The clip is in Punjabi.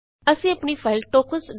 ਅਸੀਂ ਆਪਣੀ ਫਾਈਲ ਟੋਕਨਜ਼